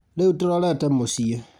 Rĩu tũrorete mũciĩ